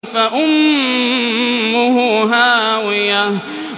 فَأُمُّهُ هَاوِيَةٌ